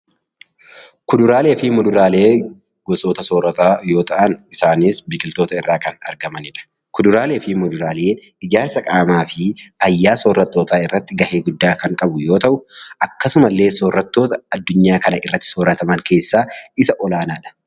Kuduraalee fi muduraaleen gosoota soorataa yoo ta'an isaanis biqiloota irraa kan argamanidha. kuduraalee fi muduraaleen ijaarsa qaamaafi ayyaa soorattoota irratti gahee kan qabu yoo ta'u, akkasuma illee Sorata adduunuyaa kana irratti soorataman keessaalle isa olaanadha.